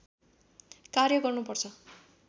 कार्य गर्नुपर्छ